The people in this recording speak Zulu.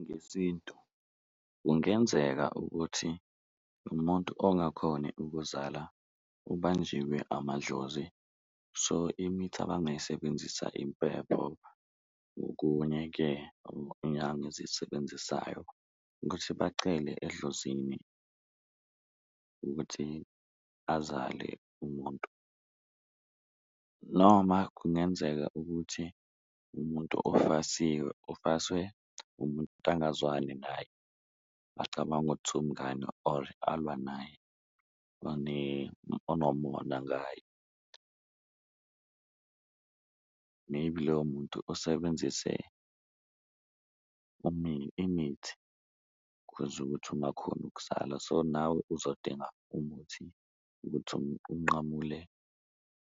Ngesintu kungenzeka ukuthi umuntu ongakhoni ukuzala ubanjiwe amadlozi, so imithi abangayisebenzisa impepho ngokunye-ke inyanga ezisebenzisayo ukuthi bacele edlozini ukuthi azale umuntu. Noma kungenzeka ukuthi umuntu ofasiwe, ofaswe umuntu angazwani naye acabanga ukuthi umngani or alwa naye onomona ngaye . Maybe loyo muntu usebenzise imithi, kuze ukuthi ungakhoni ukuzala, so nawe uzodinga umuthi ukuthi unqamule